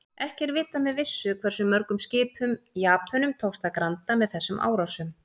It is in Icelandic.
Ekki er vitað með vissu hversu mörgum skipum Japönum tókst að granda með þessum árásum.